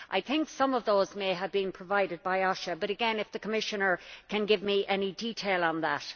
I think some of those may have been provided by OSHA, but again, if the Commissioner can give me any detail on that?